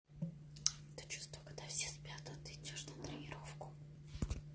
то чувство когда все спят а ты идёшь на тренировку